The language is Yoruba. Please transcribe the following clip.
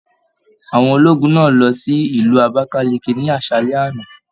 Àwọn ológun náà lọ sí Ìlú Abakaliki ni aṣalẹ àna.